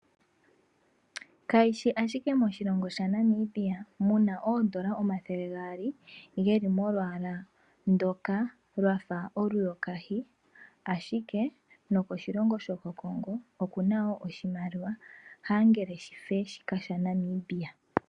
Kayishi ashike moshilongo shaNamibia muna oondola omathele gaali geli molwala ndoka lwafa oluyoka hi ashike nokoshilongo shoko Congo okuna oshimaliwa angele shife shika shaNamibia.